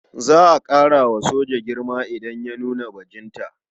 Za a ƙara wa soja girma idan ya nuna bajinta.